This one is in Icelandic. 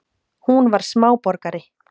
Hún var smáborgari.